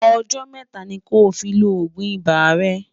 ọ̀jò métà ní kò fí ló ògún ibà rè